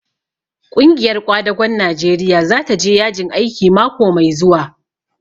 Ƙungiyar ƙwadagon Najeriya za ta je yajin aiki mako mai zuwa.